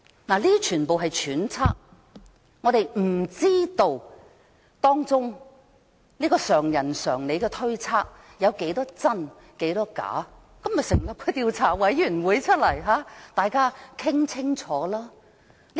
當然，以上都是揣測，我們不知道這個常人常理的推測多少是真、多少是假，所以，應該成立調查委員會，讓大家討論清楚。